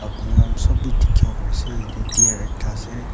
apuni khan sob bi dikhiwo pari ase yetey deer ekta ase.